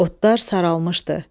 Otlar saralmışdı.